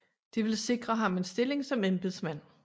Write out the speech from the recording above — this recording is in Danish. Det ville sikre ham en stilling som embedsmand